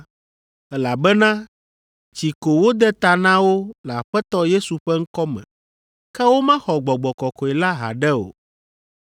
elabena tsi ko wode ta na wo le Aƒetɔ Yesu ƒe ŋkɔ me, ke womexɔ Gbɔgbɔ Kɔkɔe la haɖe o.